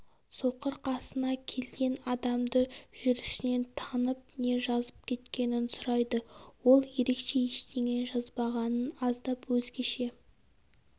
соқыр қасына келген адамды жүрісінен танып не жазып кеткенін сұрайды ол ерекше ештеңе жазбағанын аздап өзгеше